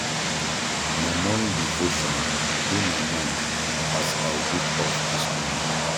Na morning devotion dey my mind as I wake up dis morning.